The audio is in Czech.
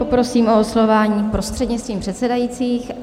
Poprosím o oslovování prostřednictvím předsedajících.